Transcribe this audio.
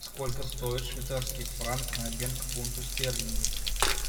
сколько стоит швейцарский франк на обмен к фунту стерлингов